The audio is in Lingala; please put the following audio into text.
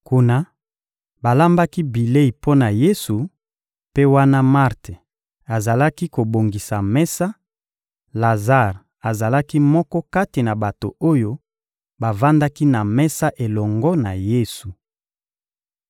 Kuna, balambaki bilei mpo na Yesu; mpe wana Marte azalaki kobongisa mesa, Lazare azalaki moko kati na bato oyo bavandaki na mesa elongo na Yesu.